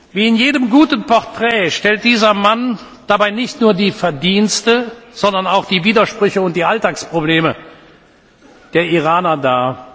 Wie in jedem guten Portrait stellt dieser Mann dabei nicht nur die Verdienste, sondern auch die Widersprüche und die Alltagsprobleme der Iraner dar.